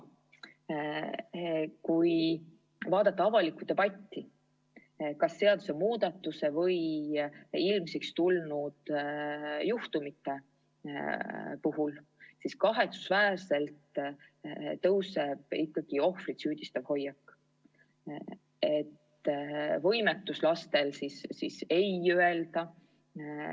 Kui vaadata avalikku debatti kas seadusemuudatuse või ilmsiks tulnud juhtumite üle, siis kahetsusväärselt tõuseb esile ka ohvrit süüdistav hoiak, laste võimetus "ei" öelda.